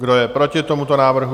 Kdo je proti tomuto návrhu?